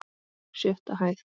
Sjötta hæð.